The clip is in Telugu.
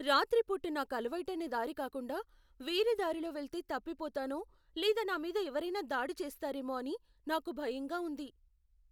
రాత్రి పూట నాకు అలవాటైన దారి కాకుండా వేరే దారిలో వెళ్తే తప్పిపోతానో లేదా నామీద ఎవరైనా దాడి చేస్తారేమో అని నాకు భయంగా ఉంది.